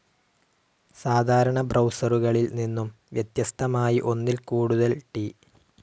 സാധാരണ ബ്രൗസറുകളിൽ നിന്നും വ്യത്യസ്തമായി ഒന്നിൽ കൂടുതൽ ടി.